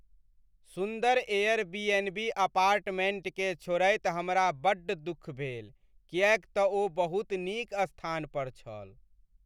सुन्दर एयरबीएनबी अपार्टमेंटकेँ छोड़ैत हमरा बड्ड दुख भेल, किएक तऽ ओ बहुत नीक स्थान पर छल।